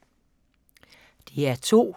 DR2